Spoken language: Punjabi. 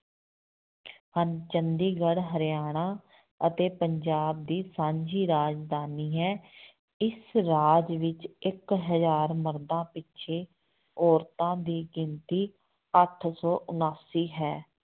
ਹਨ ਚੰਡੀਗੜ੍ਹ ਹਰਿਆਣਾ ਅਤੇ ਪੰਜਾਬ ਦੀ ਸਾਂਝੀ ਰਾਜਧਾਨੀ ਹੈ, ਇਸ ਰਾਜ ਵਿੱਚ ਇੱਕ ਹਜ਼ਾਰ ਮਰਦਾਂ ਪਿੱਛੇ ਔਰਤਾਂ ਦੀ ਗਿਣਤੀ ਅੱਠ ਸੌ ਉਣਾਸੀ ਹੈ।